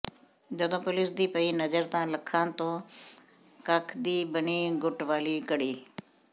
ਜਦੋਂ ਪੁਲਿਸ ਦੀ ਪਈ ਨਜ਼ਰ ਤਾਂ ਲੱਖਾਂ ਤੋਂ ਕੱਖ ਦੀ ਬਣੀ ਗੁੱਟ ਵਾਲੀ ਘੜੀ